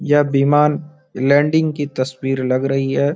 ये विमान लैंडिंग की तस्वीर लग रही है।